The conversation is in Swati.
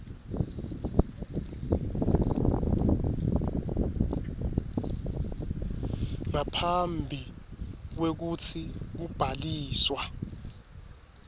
ngaphambi kwekutsi kubhaliswa